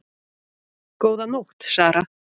Góða nótt Sara